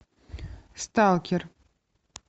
сталкер